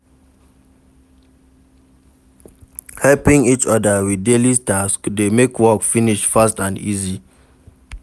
Helping each other with daily task de make work finish fast and easy